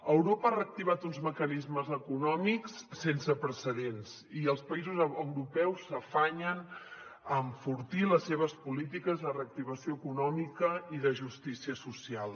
europa ha reactivat uns mecanismes econòmics sense precedents i els països europeus s’afanyen a enfortir les seves polítiques de reactivació econòmica i de justícia social